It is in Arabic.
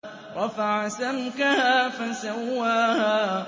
رَفَعَ سَمْكَهَا فَسَوَّاهَا